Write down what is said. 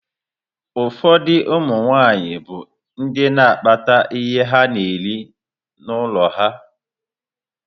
Ụfọdụ ụmụ nwaanyị bụ ndị na akpata ihe ana-eri n'ụlọ ha.